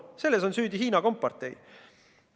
Selles on süüdi Hiina kompartei.